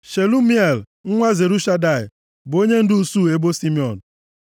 Shelumiel nwa Zurishadai bụ onyendu usuu ebo Simiọn.